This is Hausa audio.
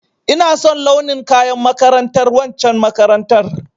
Ina son launin kayan makarantar waccen makarantar